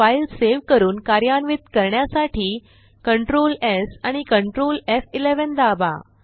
file save करून कार्यान्वित करण्यासाठी Ctrl स् आणि Ctrl एफ11 दाबा